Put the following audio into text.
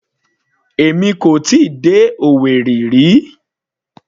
Èmi kò tíì dé Owerri rí.